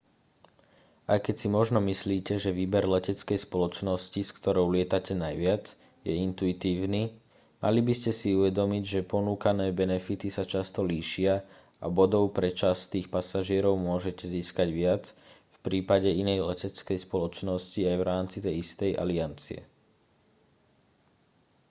aj keď si možno myslíte že výber leteckej spoločnosti s ktorou lietate najviac je intuitívny mali by ste si uvedomiť že ponúkané benefity sa často líšia a bodov pre častých pasažierov môžete získať viac v prípade inej leteckej spoločnosti aj v rámci tej istej aliancie